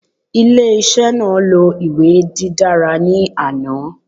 Ile-iṣẹ naa lo iwe didara ni ana